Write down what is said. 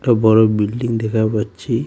একটা বড় বিল্ডিং দেখার পাচ্ছি।